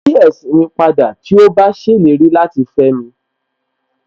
Màá yí ẹ̀sìn ní padà tí ó bá ṣèlérí láti fẹ́mi